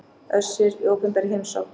Össur í opinberri heimsókn